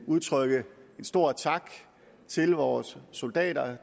udtrykke en stor tak til vores soldater